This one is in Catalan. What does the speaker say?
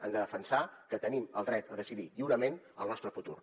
hem de defensar que tenim el dret a decidir lliurement el nostre futur